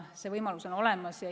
See võimalus on olemas.